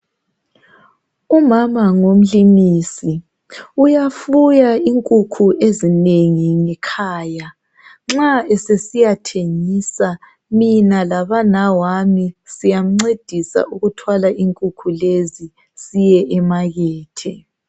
Umama ngumlimisi uyafuya inkukhu ezinengi ngekhaya nxa esesisiya thengisa mina labanawami siyamncedisa ukuthwala inkukhu sesisiya emakethe.